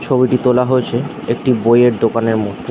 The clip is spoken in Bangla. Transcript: ছবিটি তোলা হয়েছে একটি বইয়ের দোকানের মধ্যে।